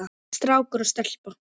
Strákur og stelpa.